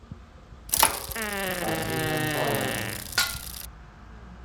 афина фален